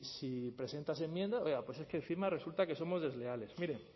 si presentas enmiendas oiga es que encima resulta que somos desleales mire